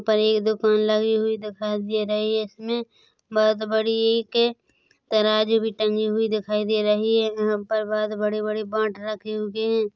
यहाँ पर ये दुकान लगी हुई दिखाई दे रही है इसमें बहोत बड़ी के तराजू भी टंगे हुई दिखाइ दे रही है यहाँ पर बहोत बड़े-बड़े बाट रखे हुए है।